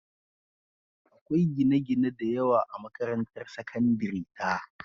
Akwai gine-gine da yawa a makarantar sakandare ta.